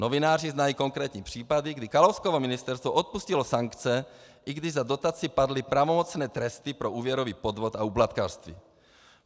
Novináři znají konkrétní případy, kdy Kalouskovo ministerstvo odpustilo sankce, i když za dotaci padly pravomocné tresty pro úvěrový podvod a úplatkářství.